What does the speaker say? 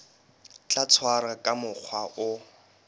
tla tshwarwa ka mokgwa o